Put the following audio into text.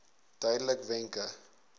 duidelikwenke